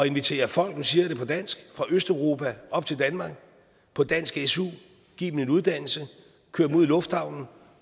invitere folk nu siger jeg det på dansk fra østeuropa op til danmark på dansk su give dem en uddannelse køre dem ud i lufthavnen